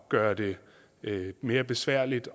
gøre det mere besværligt